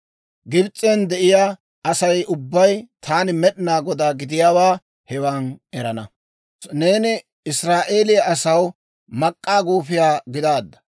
Gibs'en de'iyaa Asay ubbay taani Med'inaa Godaa gidiyaawaa hewan erana. «‹ «Neeni Israa'eeliyaa asaw mak'k'aa guufiyaa gidaadda;